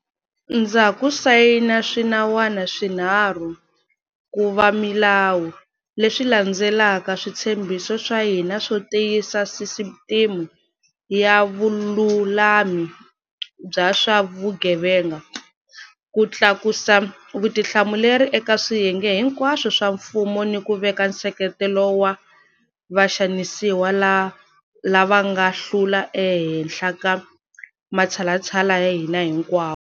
Ndza ha ku sayina swinawana swinharhu ku va milawu, leswi landzelelaka switshembiso swa hina swo tiyisa sisiteme ya vululami bya swa vugevenga, ku tlakusa vutihlamuleri eka swiyenge hinkwaswo swa mfumo ni ku veka nseketelo wa vaxanisiwa lava nga hlula ehenhla ka matshalatshala ya hina hinkwawo.